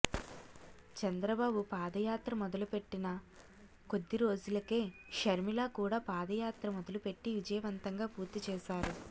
చంద్రబాబు పాదయాత్ర మొదలుపెట్టిన కొద్ది రోజులకే షర్మిల కూడా పాదయాత్ర మొదలుపెట్టి విజయవంతంగా పూర్తి చేసారు